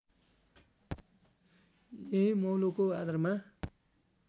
यही मौलोको आधारमा